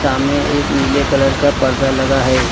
सामने एक नीले कलर का पर्दा लगा है।